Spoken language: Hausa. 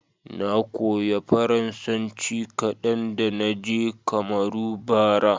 Na koya Faransanci kadan da na je Kamaru, bara.